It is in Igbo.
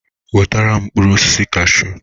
Weta mkpụrụ osisi kasshu!